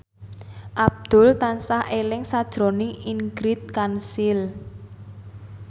Abdul tansah eling sakjroning Ingrid Kansil